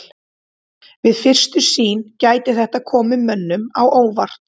Við fyrstu sýn gæti þetta komið mönnum á óvart.